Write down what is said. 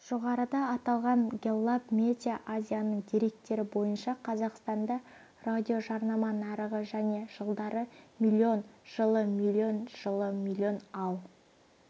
жоғарыда аталған гэллап медиа азияның деректері бойынша қазақстанда радиожарнама нарығы және жылдары млн жылы млн жылы млн ал